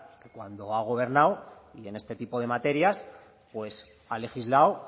cuando ha gobernado y en este tipo de materias pues ha legislado